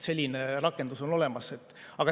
Selline rakendus on olemas.